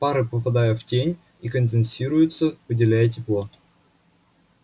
пары попадают в тень и конденсируются выделяя тепло